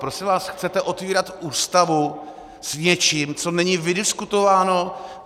Prosím vás, chcete otevírat Ústavu s něčím, co není vydiskutováno.